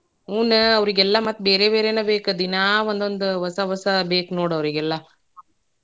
ಹೂನ ಅವ್ರಿಗೆಲ್ಲಾ ಮತ್ತ್ ಬೇರೆ ಬೇರೆನ ಬೇಕ್ ದಿನಾ ಒಂದೋಂದ್ ಹೊಸ ಹೊಸ ಬೇಕ್ ನೋಡ್ ಅವ್ರಿಗೆಲ್ಲಾ.